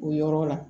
O yɔrɔ la